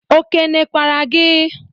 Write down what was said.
O kene kwara gị?